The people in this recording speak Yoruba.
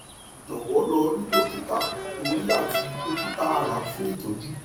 jowo lo ri dokita ori ati dokita ara fun itoju